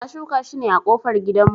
Na shuka shi ne a kofar gidan mu